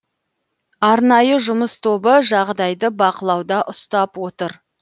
арнайы жұмыс тобы жағдайды бақылауда ұстап отыр